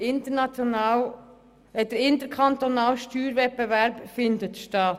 Der interkantonale Steuerwettbewerb findet statt.